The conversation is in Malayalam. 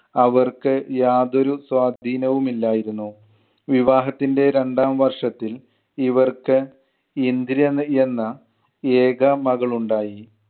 അവർക്ക് യാതൊരു സ്വാധീനവും ഇല്ലായിരുന്നു. വിവാഹത്തിൻ്റെ രണ്ടാംവർഷത്തിൽ ഇവർക്ക് ഇന്ദിര എന്ന ഏക മകളുണ്ടായി.